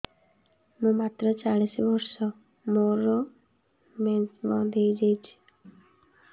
ମୁଁ ମାତ୍ର ଚାଳିଶ ବର୍ଷ ମୋର ମେନ୍ସ ବନ୍ଦ ହେଇଯାଇଛି